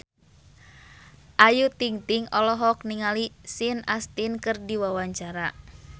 Ayu Ting-ting olohok ningali Sean Astin keur diwawancara